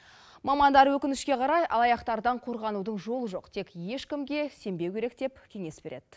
мамандар өкінішке қарай алаяқтардан қорғанудың жолы жоқ тек ешкімге сенбеу керек деп кеңес береді